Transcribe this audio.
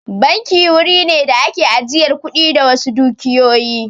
Banki wuri ne da ake ajiyar kuɗi da wasu dukiyoyi